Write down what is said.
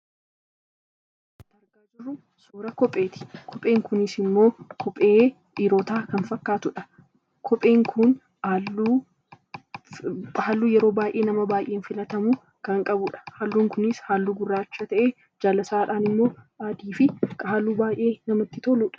Kan argaa jirru suuraa kopheeti. Kopheen kunis immoo kophee dhiirotaa kan fakkaatu dha. Kopheen kun halluu yeroo baay'ee nama baay'een filatamu kan qabu dha. Halluun kunis halluu gurraacha ta'ee jala isaadhaan immoo adii fi halluu baay'ee namatti tolu dha.